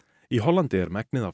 í Hollandi er megnið af